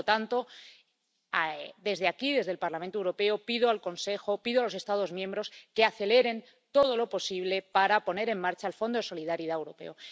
Por lo tanto, desde aquí, desde el Parlamento Europeo, pido al Consejo, pido a los Estados miembros que aceleren todo lo posible la puesta en marcha del Fondo de Solidaridad Europeo.